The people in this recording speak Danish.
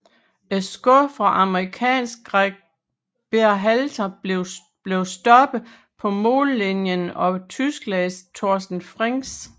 Et skud fra amerikanske Gregg Berhalter blev stoppet på mållinjen af Tysklands Torsten Frings